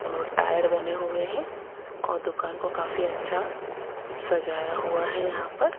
और टायर बने हुए हैं और दुकान को काफी अच्छा सजाया हुआ है यहां पर।